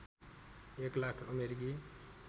एक लाख अमेरिकी